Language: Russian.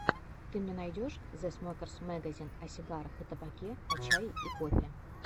ты мне найдешь зэ смокерс мэгазин о сигарах и табаке о чае и кофе